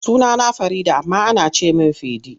Sunana Farida amma ana ce min Fidi.